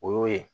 O y'o ye